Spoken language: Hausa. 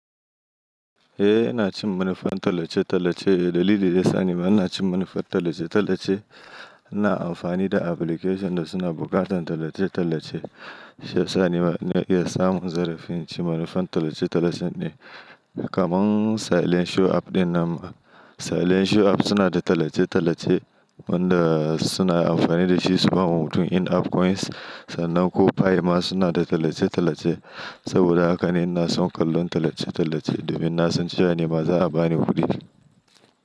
Eh, ina cin manufan tallace-tallace. Dalili ne, sani ba ina cin manufar tallace-tallace. Ina amfani da application da suna buƙatar tallace-tallace. She sani ba ne iya samun zarafin ci manufan tallace-tallace ne. Kamun Silent Show app din nan ba. Silent Show app suna da tallace-tallace wanda suna amfani da shi su ba mu hutun in-app coins sannan ko pi ma suna da tallace-tallace. Saboda haka ina son kallon tallace-tallace domin na san cewa ni ma za a ba ni kuɗi.